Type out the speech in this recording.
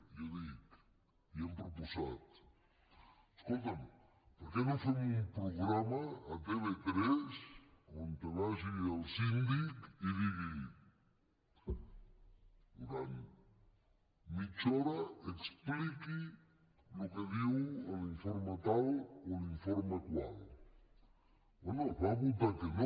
jo dic i hem proposat escolta’m per què no fem un programa a tv3 on vagi el síndic i digui durant mitja hora expliqui el que diu l’informe tal o l’informe qual bé es va votar que no